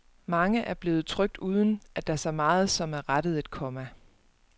Mange er blevet trykt uden, at der så meget som er rettet et komma.